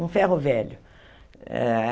Um ferro velho. Eh